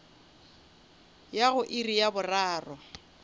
ya go iri ya boraro